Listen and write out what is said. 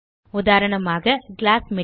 உதாரணமாக glass material